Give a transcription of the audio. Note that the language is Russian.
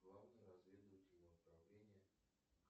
главное разведывательное управление